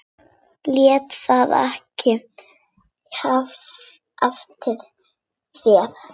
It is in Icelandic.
Lét það ekki eftir sér.